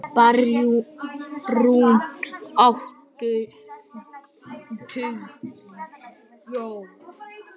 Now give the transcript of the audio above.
Bjarnrún, áttu tyggjó?